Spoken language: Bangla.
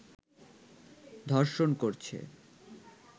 ধর্ষণ করছে